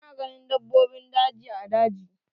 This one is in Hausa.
Ana ganin dabbobin daji a daji.